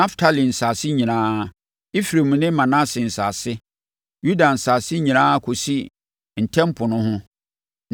Naftali nsase nyinaa; Efraim ne Manase nsase; Yuda nsase nyinaa kɔsi Ntam Po no ho;